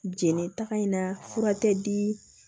Jeli taga in na fura tɛ di